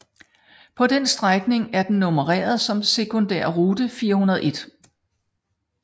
På den strækning er den nummereret som sekundærrute 401